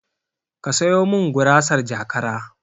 Ka sayo min gurasar jakara